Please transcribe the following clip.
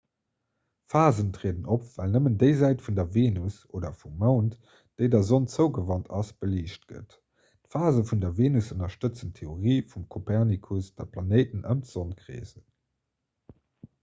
phasen trieden op well nëmmen déi säit vun der venus oder vum mound déi der sonn zougewant ass beliicht gëtt. d'phase vun der venus ënnerstëtzen d'theorie vum kopernikus datt d'planéiten ëm d'sonn kreesen